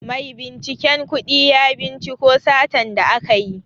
Maibinciken kudi ya cinciko satan da aka yi.